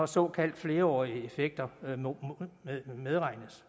såkaldte flerårige effekter medregnes